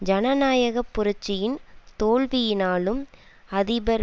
ஜனநாயக புரட்சியின் தோல்வியினாலும் அதிபர்